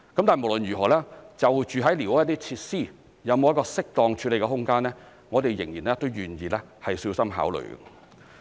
但無論如何，就寮屋的設施，有沒有一個適當處理的空間，我們仍願意小心考慮。